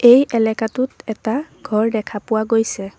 এই এলেকাটোত এটা ঘৰ দেখা পোৱা গৈছে।